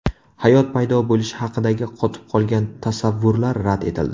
Hayot paydo bo‘lishi haqidagi qotib qolgan tasavvurlar rad etildi.